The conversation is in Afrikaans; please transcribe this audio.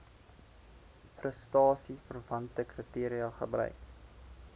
prestasieverwante kriteria gebruik